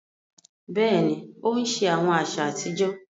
Béèni, o n ṣe awọn aṣa atijọ